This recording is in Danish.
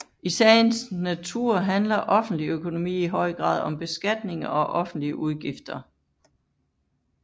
I sagens natur handler offentlig økonomi i høj grad om beskatning og offentlige udgifter